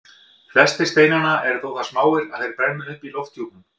Flestir steinanna eru þó það smáir að þeir brenna upp í lofthjúpnum.